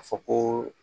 A fɔ ko